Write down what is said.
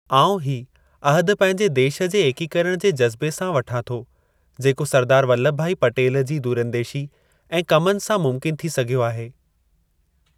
आऊं ही अहदु पंहिंजे देश जे एकीकरण जे जज़्बे सां वठां थो जेको सरदार वल्लभ भाई पटेल जी दूरंदेशी ऐं कमुनि सां मुमकिन थी सघियो आहे ।